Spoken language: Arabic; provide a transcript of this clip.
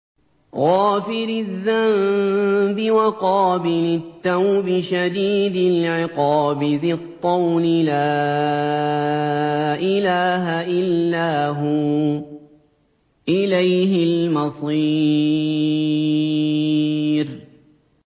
غَافِرِ الذَّنبِ وَقَابِلِ التَّوْبِ شَدِيدِ الْعِقَابِ ذِي الطَّوْلِ ۖ لَا إِلَٰهَ إِلَّا هُوَ ۖ إِلَيْهِ الْمَصِيرُ